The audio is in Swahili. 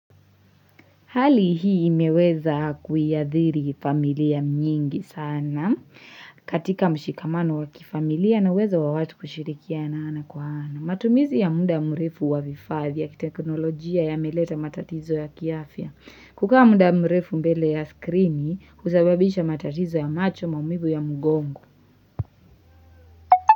Hali hii imeweza kuiadhiri familia mnyingi sana katika mshikamano wakifamilia na wezo wawatu kushirikia na ana kwa ana. Matumizi ya munda mrefu wa vifadhi ya teknolojia ya meleta matatizo ya kiafia. Kukaa muda mrefu mbele ya skrini kusababisha matatizo ya macho maumivu ya mgongo.